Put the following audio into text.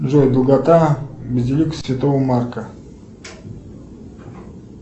джой долгота базилики святого марка